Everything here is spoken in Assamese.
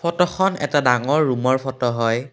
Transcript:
ফটোখনৰ এটা ডাঙৰ ৰুমৰ ফটো হয়।